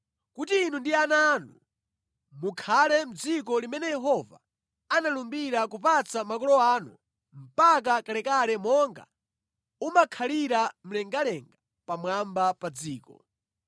kuti inu ndi ana anu mukhale mʼdziko limene Yehova analumbira kupatsa makolo anu mpaka kalekale monga umakhalira mlengalenga pamwamba pa dziko.